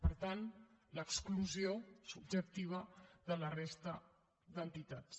per tant l’exclusió subjectiva de la resta d’entitats